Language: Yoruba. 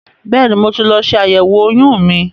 Bẹ́ẹ̀ni, mo ti lọ ṣe àyẹ̀wò oyún mi.